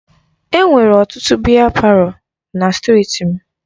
Enwere ọtụtụ biya palọ na strịti m.